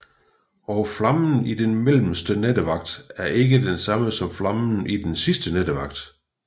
Og flammen i den mellemste nattevagt er ikke den samme som flammen i den sidste nattevagt